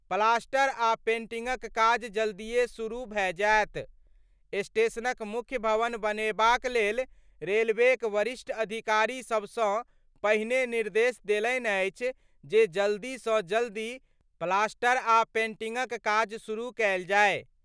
Plaster आ पेंटिंगक काज जल्दिये शुरू भए जाएत : स्टेशनक मुख्य भवन बनेबाक लेल रेलवेक वरिष्ठ अधिकारी सबसँ पहिने निर्देश देलनि अछि जे जल्दीसँ जल्दी प्लास्टर आ पेंटिंगक काज शुरू कयल जाय।